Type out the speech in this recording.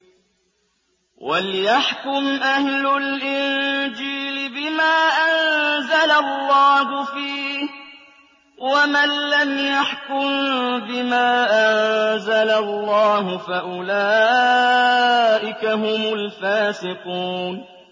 وَلْيَحْكُمْ أَهْلُ الْإِنجِيلِ بِمَا أَنزَلَ اللَّهُ فِيهِ ۚ وَمَن لَّمْ يَحْكُم بِمَا أَنزَلَ اللَّهُ فَأُولَٰئِكَ هُمُ الْفَاسِقُونَ